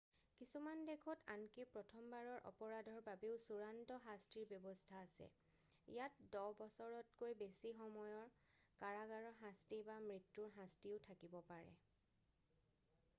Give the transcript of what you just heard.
কিছুমান দেশত আনকি প্ৰথমবাৰৰ অপৰাধৰ বাবেও চূড়ান্ত শাস্তিৰ ব্যৱস্থা আছে ইয়াত 10 বছৰতকৈ বেছি সময়ৰ কাৰাগাৰৰ শাস্তি বা মৃত্যুৰ শাস্তিও থাকিব পাৰে